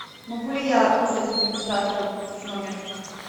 могу ли я вызвать администратора в номер